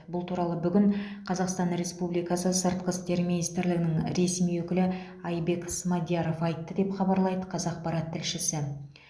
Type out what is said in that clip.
бұл туралы бүгін қазақстан республикасы сыртқы істер министрлігінің ресми өкілі айбек смадияров айтты деп хабарлайды қазақпарат тілшісі